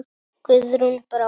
Guðrún Brá.